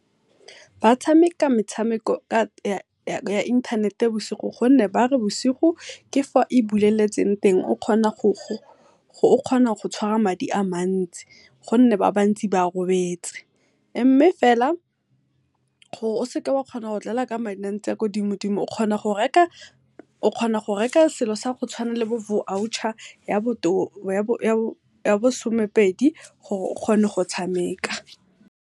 Ba tshameka metshameko ya inthanete bosigo gonne ba re bosigo ke fa e buleletseng teng, o kgona go tshwara madi a matsi gonne ba bantsi ba robetse. Mme fela gore o seka wa kgona go dlala ka madi a kwa dimo-dimo, o kgona go reka selo sa go tshwana le bo voucher ya bo somepedi gore o kgone go tshameka.